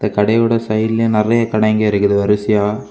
இந்த கடையோட சைடுலையு நெறைய கடைங்க இருக்குது வரிசையா.